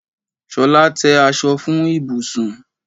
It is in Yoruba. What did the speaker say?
Ṣolá, tẹ́ aṣọ fún ibùsùn!